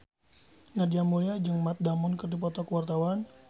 Nadia Mulya jeung Matt Damon keur dipoto ku wartawan